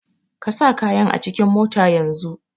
Ka sa kayan acikin mota yanzun!